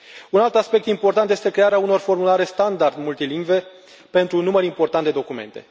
Un alt aspect important este crearea unor formulare standard multilingve pentru un număr important de documente.